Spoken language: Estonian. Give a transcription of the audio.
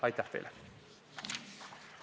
Aitäh teile!